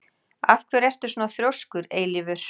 Af hverju ertu svona þrjóskur, Eilífur?